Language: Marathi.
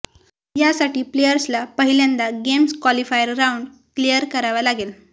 यासाठी प्लेअर्सला पहिल्यांदा गेम्स क्वॉलिफायर राऊंड क्लिअर करावा लागेल